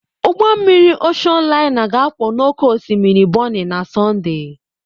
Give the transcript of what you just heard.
ụgbọ mmiri Oshon laina ga-akwọ n'oké osimiri Bonny na Sọnde